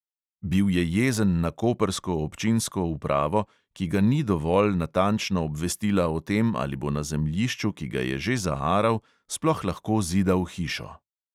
Bil je jezen na koprsko občinsko upravo, ki ga ni dovolj natančno obvestila o tem, ali bo na zemljišču, ki ga je že zaaral, sploh lahko zidal hišo.